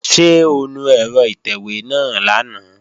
Ṣé o nu ẹ̀rọ ìtẹ̀wé náà lánàá?